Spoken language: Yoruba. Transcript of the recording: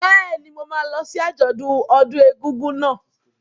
Bẹ́ẹ̀ni, mo máa lọ sí àjọ̀dún ọdún egúngún náà.